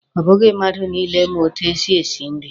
Ọ bụghị mmadụ niile ma etu e si esi nri.